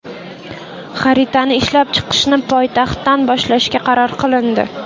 Xaritani ishlab chiqishni poytaxtdan boshlashga qaror qilindi.